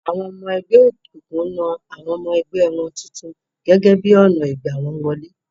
Awọn ọmọ ẹgbẹ́ òkùnkùn ń na àwọn ọmọ ẹgbẹ́ wọn tuntun gẹ́gẹ́ bí ọnà ìgbà wọ́n wọlé.